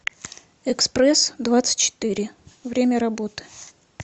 экспрессдвадцатьчетыре время работы